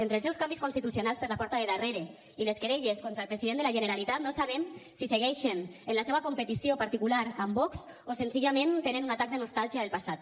entre els seus canvis constitucionals per la porta de darrere i les querelles contra el president de la generalitat no sabem si segueixen en la seva competició particular amb vox o senzillament tenen un atac de nostàlgia del passat